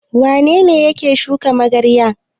Wane ne yake shuka magarya?